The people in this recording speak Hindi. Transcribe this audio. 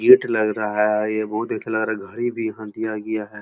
गेट लग रहा है। ये बहोत घड़ी भी यहाँ दिया गया है।